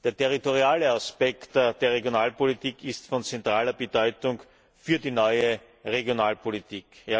Der territoriale Aspekt der Regionalpolitik ist von zentraler Bedeutung für die neue Regionalpolitik.